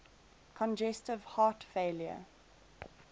congestive heart failure